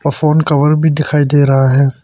Phone cover भी दिखाई दे रहा है।